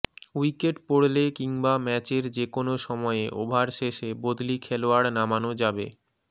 wicket পড়লে কিংবা ম্যাচের যেকোনো সময়ে ওভার শেষে বদলি খেলোয়াড় নামানো যাবে